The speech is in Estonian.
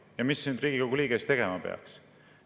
Ja mida nüüd Riigikogu liige tegema peaks?